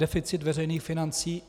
Deficit veřejných financí.